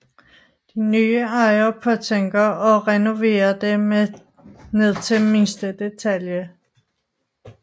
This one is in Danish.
De nye ejere påtænker at renovere det ned til mindste detalje